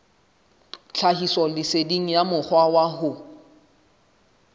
tlhahisoleseding ya mokgwa wa ho